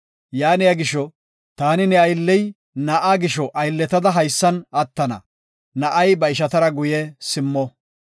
“Yaaniya gisho, taani ne aylley na7aa gisho aylletada haysan attana na7ay ba ishatara guye simmo.